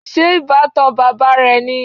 Ṣé ìbátan bàbá rẹ ni?